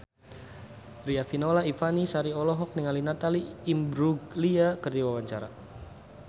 Riafinola Ifani Sari olohok ningali Natalie Imbruglia keur diwawancara